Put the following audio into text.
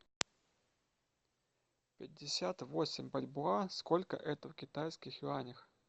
пятьдесят восемь бальбоа сколько это в китайских юанях